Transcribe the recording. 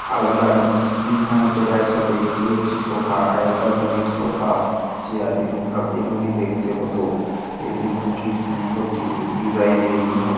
আলাদা কিন্তু তিনখানা চেয়ার একসাথে এটি একটি সোফা আগেকার দিনের সোফা চেয়ার এরোম এরোমি দেখতে হতো এ-দেখুন কি সুন্দর ডি ডিসাইন এর এগুনো।